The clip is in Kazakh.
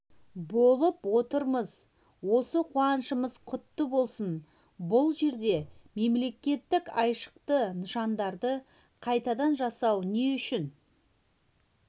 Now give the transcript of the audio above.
болып отырмыз осы қуанышымыз құтты болсын бұл жерде мемлекеттік айшықты нышандарды қайтадан жасау не үшін